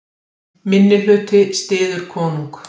Minnihluti styður konung